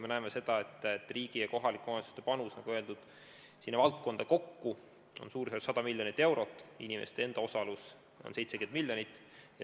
Me näeme seda, et riigi ja kohalike omavalitsuste panus, nagu öeldud, sinna valdkonda kokku on suurusjärgus 100 miljonit eurot, inimeste enda osalus aga 70 miljonit.